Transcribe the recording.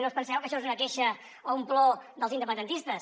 no us penseu que això és una queixa o un plor dels independentistes